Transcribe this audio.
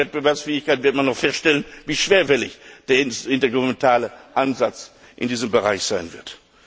Beim Pakt für Wettbewerbsfähigkeit werden wir noch feststellen, wie schwerfällig der intergouvernementale Ansatz in diesem Bereich sein wird.